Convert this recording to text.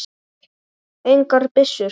Engar byssur.